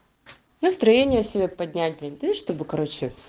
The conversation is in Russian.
настроение себе поднять блять да и чтобы короче